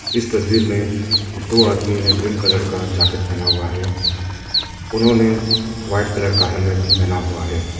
इस तस्वीर में दो आदमी ने ग्रीन कलर का जैकेट पहना हुआ है। उन्होंने वाइट कलर का हेलमेट भी पहना हुआ है।